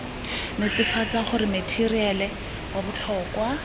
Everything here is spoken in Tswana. netefatsa gore matheriale wa botlhokwa